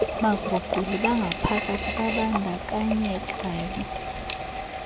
baguquli bangaphakathi babandakanyekayo